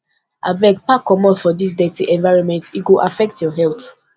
abeg pack comot from dis dirty environment e go affect your health